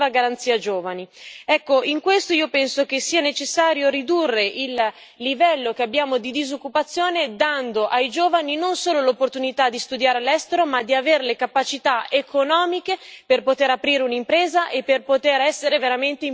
Ecco, in questo io penso che sia necessario ridurre l'attuale livello di disoccupazione, dando ai giovani non solo l'opportunità di studiare all'estero ma di avere le capacità economiche per poter aprire un'impresa e per poter essere veramente imprenditori di se stessi.